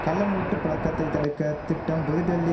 கள்ளநோட்டு புழக்கத்தை தடுக்க திட்டம் புதுடெல்லி